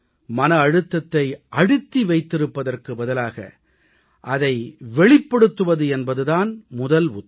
மன அழுத்தத்தை அழுத்தி வைத்திருப்பதற்கு பதிலாக அதை வெளிப்படுத்துவது என்பது தான் முதல் உத்தி